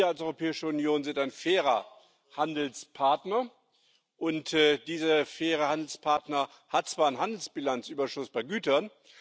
Wir als Europäische Union sind ein fairer Handelspartner. Dieser faire Handelspartner hat zwar einen Handelsbilanzüberschuss bei Gütern.